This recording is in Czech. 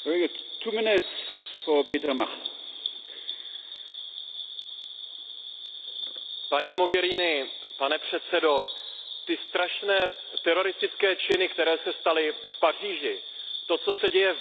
Paní Mogheriniová, pane předsedající, ty strašné teroristické činy, které se staly v Paříži, to, co se děje v Bruselu, je přeci důsledkem mylné politiky pozvání migrantů